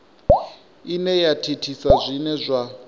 ine ya thithisa zwine zwa